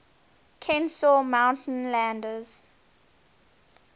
kenesaw mountain landis